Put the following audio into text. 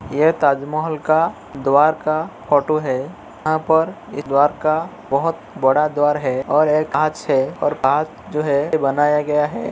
यह ताजमहल का द्धार का फोटो है। यहाँ पर एक द्धार का बोहोत बड़ा द्धार है और कांच है और कांच जो है बनाया गया है।